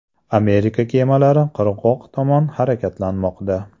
Amerika kemalari qirg‘oq tomon harakatlanmoqda.